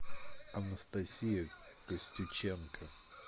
анастасия костюченко